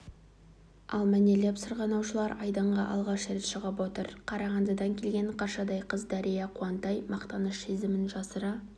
ал мәнерлеп сырғанаушылар айдынға алғаш шығып отыр қарағандыдан келген қаршадай қыз дәрия қуантай мақтаныш сезімін жасыра